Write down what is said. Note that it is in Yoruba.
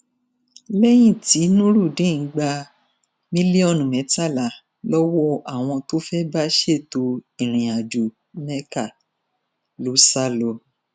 lẹyìn tí nurudeen gba mílíọnù mẹtàlá lọwọ àwọn tó fẹẹ bá ṣètò ìrìnàjò mecca ló sá lọ